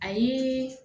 A ye